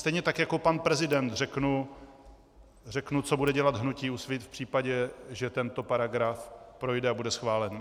Stejně tak jako pan prezident řeknu, co bude dělat hnutí Úsvit v případě, že tento paragraf projde a bude schválen.